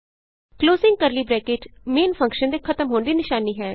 closing curly bracket main function ਦੇ ਖਤਮ ਹੋਣ ਦੀ ਨਿਸ਼ਾਨੀ ਹੈ